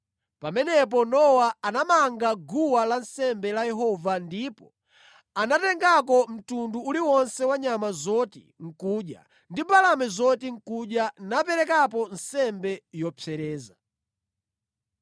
Pamenepo Nowa anamanga guwa lansembe la Yehova ndipo anatengako mtundu uliwonse wa nyama zoti nʼkudya ndi mbalame zoti nʼkudya naperekapo nsembe yopsereza.